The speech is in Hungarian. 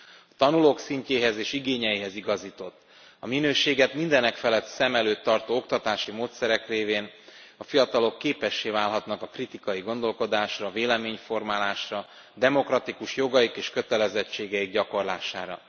A tanulók szintjéhez és igényeihez igazított, a minőséget mindenekfelett szem előtt tartó oktatási módszerek révén a fiatalok képessé válhatnak a kritikai gondolkodásra, véleményformálásra, demokratikus jogaik és kötelezettségeik gyakorlására.